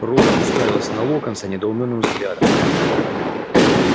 рон уставился на локонса недоумённым взглядом